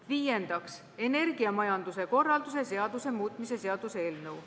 Viiendaks, energiamajanduse korralduse seaduse muutmise seaduse eelnõu.